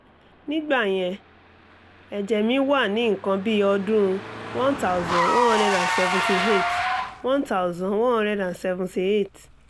nígbà yẹn ẹ̀jẹ̀ mi wà ní nǹkan bí ọdún one thousand one hundred and seventy eight one thousand one hundred and seventy eight